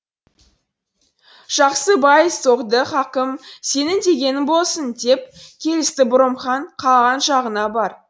жақсы бай соғды хакім сенің дегенің болсын деп келісті бұрым хан қалаған жағыңа бар